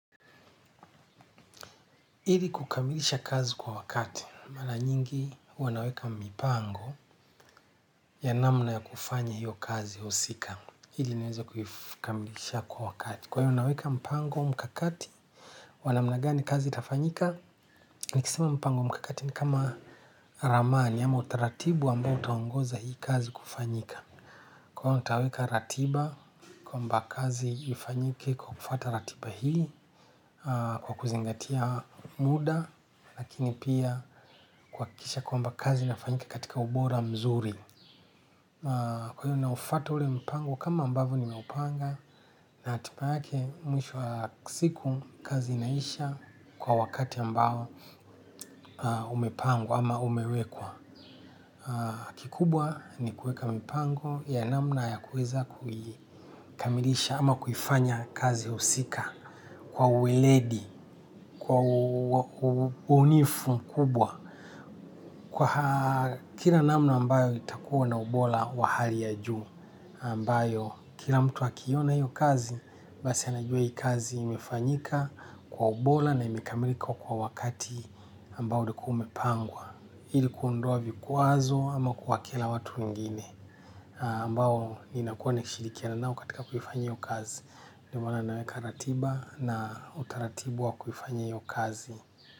Ili kukamilisha kazi kwa wakati mara nyingi huwa naweka mipango ya namna ya kufanya hiyo kazi husika ili niweze kuikamilisha kwa wakati kwa hiyo naweka mipango, mikakati wa namna gani kazi itafanyika. Nikisema mpango mikakati ni kama ramani ama utaratibu ambao utaongoza hii kazi kufanyika. Kwa hiyo nitaweka ratiba kwamba kazi ifanyike kwa kufuata ratiba hii kwa kuzingatia muda. Lakini pia kuhakikisha kwamba kazi inafanyika katika ubora mzuri. Kwa hiyo na ufuata ule mpango kama ambavyo ni meupanga. Na hatiba yake mwisho wa siku kazi inaisha kwa wakati ambao umepangwa ama umewekwa. Kikubwa ni kuweka mipango ya namna ya kuweza kuikamilisha ama kuifanya kazi husika. Kwa uiledi, kwa ubunifu mkubwa. Kwa kila namna ambayo itakuwa na ubora wa hali ya juu, ambayo kila mtu akiona hiyo kazi, basi anajua hii kazi imefanyika kwa ubora na imekamilika kwa wakati ambayo ulikuwa umepangwa. Ili kuondoa vikwazo ama kuwakila watu wengine ambayo ninakuwa nikishirikiana nao katika kuifanya hiyo kazi. Ndio maana naweka ratiba na utaratibu wa kuifanya hiyo kazi.